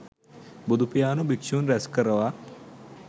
බුදුපියාණෝ භික්ෂූන් රැස් කරවා